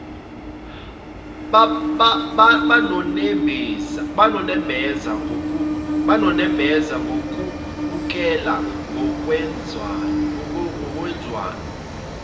banonembeza kubukeka kungezwanwa